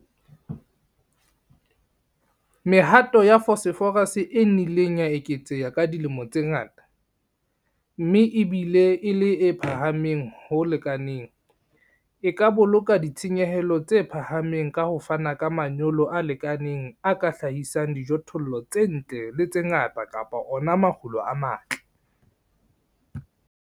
Mehato ya phosphorus e nnileng ya eketseha ka dilemo tse ngata, mme e bile e le e phahameng ho lekaneng, e ka boloka ditshenyehelo tse phahameng ka ho fana ka manyolo a lekaneng a ka hlahisang dijothollo tse ntle le tse ngata kapa ona makgulo a matle.